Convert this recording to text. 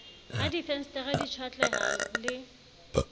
ha difensetere di tjhwatleha le